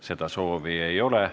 Seda soovi ei ole.